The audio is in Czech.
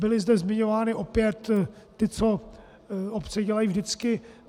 Byly zde zmiňovány opět ty, co obce dělají vždycky.